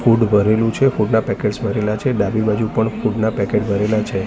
Food ભરેલું છે food ના પેકેટ્સ ભરેલા છે ડાબી બાજુ પણ ફૂડ ના પેકેટ ભરેલા છે.